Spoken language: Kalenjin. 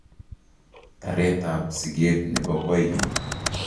Tereet ab sikeet nebo koikeny